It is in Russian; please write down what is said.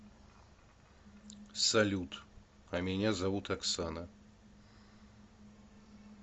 салют а меня зовут оксана